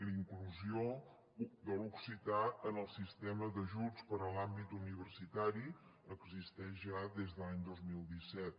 la inclusió de l’occità en el sistema d’ajuts per a l’àmbit universitari existeix ja des de l’any dos mil disset